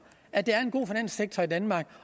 at der er en god finanssektor i danmark